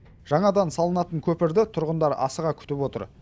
жаңадан салынатын көпірді тұрғындар асыға күтіп отыр